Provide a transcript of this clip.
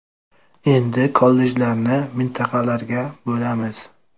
Endi kollejlarni mintaqalarga bo‘lamiz.